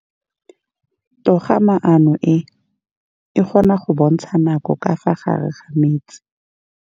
Toga-maanô e, e kgona go bontsha nakô ka fa gare ga metsi.